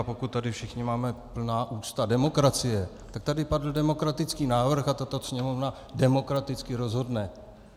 A pokud tady všichni máme plná ústa demokracie, tak tady padl demokratický návrh a tato Sněmovna demokraticky rozhodne.